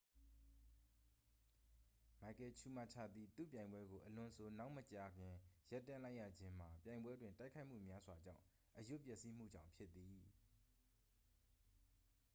မိုက်ကယ်ချူမာချာသည် သူ့ပြိုင်ပွဲကို အလွန်ဆိုနောက်မကြာခင် ရပ်တန့်လိုက်ရခြင်းမှာ ပြိုင်ပွဲတွင် တိုက်ခိုက်မှုများစွာကြောင့် အရွတ်ပျက်စီးမှုကြောင့်ဖြစ်သည်